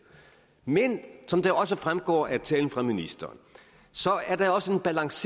men som det også fremgår af talen fra ministeren er der også en balance